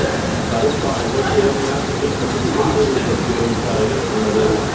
கரும்பாலைகள் சேமியா துணி மற்றும் ஆடை உற்பத்தி தொழிற்சாலைகள் உள்ளது